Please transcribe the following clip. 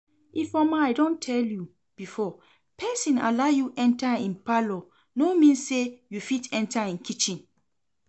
Ifeoma I don tell you before, person allow you enter im parlour no mean say you fit enter im kitchen